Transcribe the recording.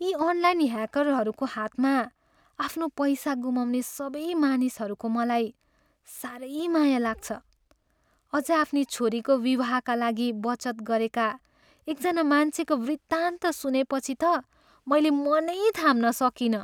यी अनलाइन ह्याकरहरूको हातमा आफ्नो पैसा गुमाउने सबै मानिसहरूको मलाई साह्रै माया लाग्छ। अझ आफ्नी छोरीको विवाहका लागि बचत गरेका एकजना मान्छेको वृत्तान्त सुनेपछि त मैले मनै थाम्न सकिनँ।